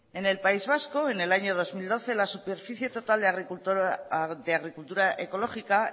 en el país vasco en el año dos mil doce la superficie total de agricultura ecológica